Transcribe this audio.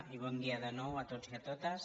i bon dia de nou a tots i a totes